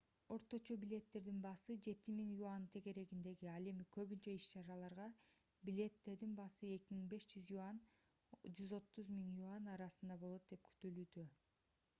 орточо билеттердин баасы 7000 ¥ тегерегинде ал эми көбүнчө иш-чараларга билеттердин баасы 2500 ¥— 130,000 ¥ арасында болот деп күтүлүүдө